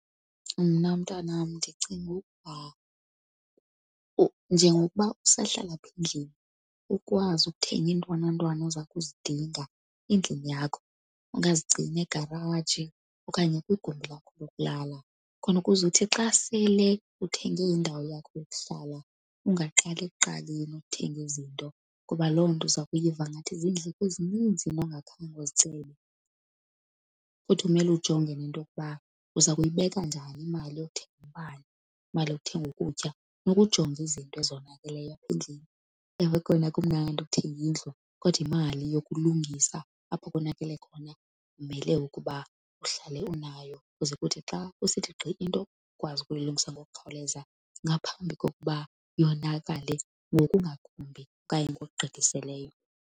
Mna mntanam, ndicinga ukuba njengokuba usahlala apha endlini ukwazi ukuthenga iintwanantwana oza kuzidinga endlini yakho. Ungazigcina egaraji okanye kwigumbi lakho lokulala, khona ukuze uthi xa sele uthenge indawo yakho yokuhlala ungaqali ekuqaleni uthenge izinto. Ngoba loo nto uza kuyiva ngathi ziindleko ezininzi ongakhange uzicebe. Futhi kumele ujonge nento yokuba uza kuyibeka njani imali yokuthenga umbane, imali yokuthenga ukutya. Funeka ujonge izinto ezonakeleyo apha endlini. Ewe, kona kumnandi ukuthenga indlu kodwa imali yokulungisa apho konakele khona umele ukuba uhlale unayo kuze kuthi xa kusithi gqi into ukwazi ukuyilungisa ngokukhawuleza ngaphambi kokuba yonakale ngokungakumbi okanye ngokugqithiseleyo.